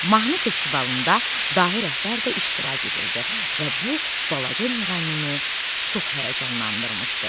Mahnı festivalında dahi rəhbər də iştirak edirdi və bu balaca müğənnini çox həyəcanlandırmışdı.